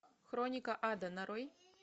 хроника ада нарой